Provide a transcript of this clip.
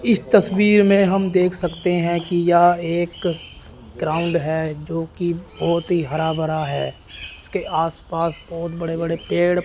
इस तस्वीर में हम देख सकते हैं कि यह एक ग्राउंड है जो की बहुत ही हरा भरा है इसके आस पास बहोत बड़े बड़े पेड़--